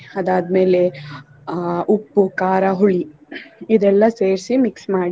ಅದಾದ್ಮೇಲೆ ಅಹ್ ಉಪ್ಪು, ಖಾರ, ಹುಳಿ ಇದೆಲ್ಲ ಸೇರ್ಸಿ mix ಮಾಡಿ.